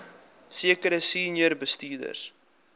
sekere senior bestuurders